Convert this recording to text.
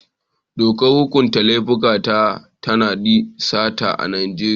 Dokar hukunta laifuka ta tanadi sata a Najeriya.